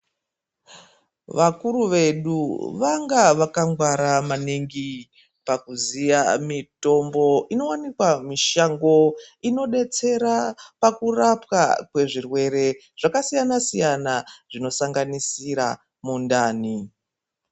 Vakuru vedu vanga vakangwara maningi pakuziya mitombo inowanikwa mushango inodetsira pakurapwa kwezvirwere zvakasiyana siyana zvino sanganisira mundani.